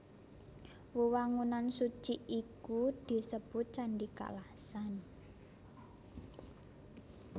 Wewangunan suci iku disebut Candhi Kalasan